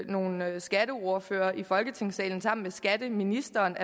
nogle skatteordførere i folketingssalen sammen med skatteministeren